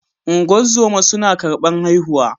Ungozoma suna karban haihuwa.